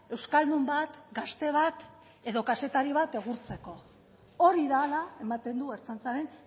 euskaldun bat gazte bat edo kazetari bat egurtzeko hori da hala ematen du ertzaintzaren